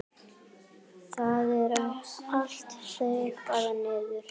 Það er allt þaggað niður.